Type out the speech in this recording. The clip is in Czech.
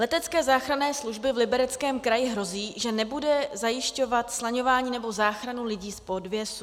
Letecké záchranné službě v Libereckém kraji hrozí, že nebude zajišťovat slaňování nebo záchranu lidí v podvěsu.